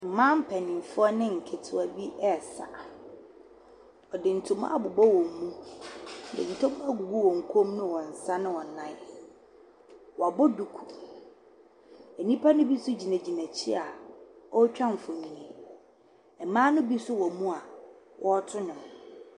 Mmaapɛnyinfuɔ ne nkitiwaa bi ɛɛsa. Wɔde ntomaa abubɔ wɔn mu, de ɛntɛguo egugu wɔ kɔɔ mu, wɔnsa ne wɔnan. Wabɔ duku. Enipa no bi gyinagyina ekyi ootwa mfonii, ɛmmaa no bi wɔ mu a wɔɔtu nwom.